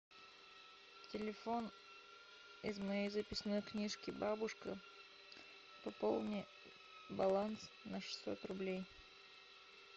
телефон из моей записной книжки бабушка пополни баланс на шестьсот рублей